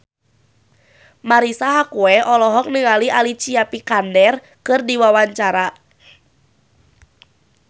Marisa Haque olohok ningali Alicia Vikander keur diwawancara